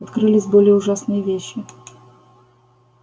открылись более ужасные вещи